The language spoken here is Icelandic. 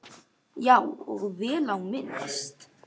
Já, og vel á minnst.